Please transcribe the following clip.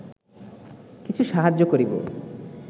কিছু সাহায্য করিব